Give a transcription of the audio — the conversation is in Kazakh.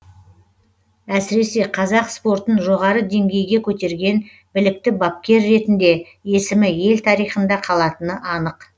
әсіресе қазақ спортын жоғары деңгейге көтерген білікті бапкер ретінде есімі ел тарихында қалатыны анық